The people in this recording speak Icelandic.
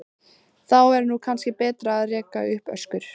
Þá er nú kannski betra að reka upp öskur.